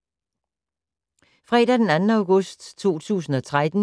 Fredag d. 2. august 2013